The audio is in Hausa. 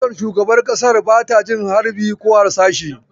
Motar shugaban ƙasan ai bata jin harbi/harsashi.